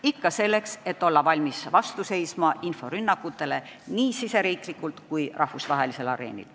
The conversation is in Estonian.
Ikka selleks, et olla valmis vastu seisma inforünnakutele nii Eestis kui rahvusvahelisel areenil.